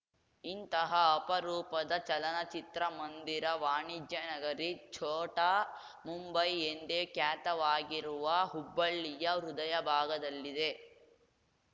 ಇಂತಹ ಅಪರೂಪದ ಚಲನಚಿತ್ರಮಂದಿರ ವಾಣಿಜ್ಯ ನಗರಿ ಛೋಟಾ ಮುಂಬೈ ಎಂದೇ ಖ್ಯಾತವಾಗಿರುವ ಹುಬ್ಬಳ್ಳಿಯ ಹೃದಯ ಭಾಗದಲ್ಲಿದೆ